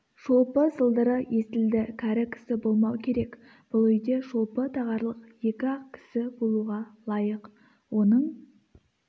шолпы сылдыры естілді кәрі кісі болмау керек бұл үйде шолпы тағарлық екі-ақ кісі болуға лайық оның